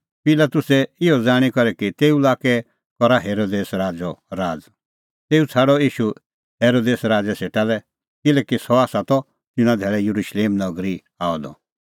पिलातुसै इहअ ज़ाणीं करै कि तेऊ लाक्कै करा हेरोदेस राज़अ राज़ तेऊ छ़ाडअ ईशू हेरोदेस राज़ै सेटा लै किल्हैकि सह त तिन्नां धैल़ै येरुशलेम नगरी आअ द